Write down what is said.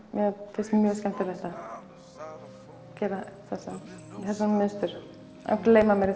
finnst mjög skemmtilegt að geraþessi mynstur gleyma mér